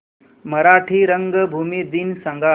मराठी रंगभूमी दिन सांगा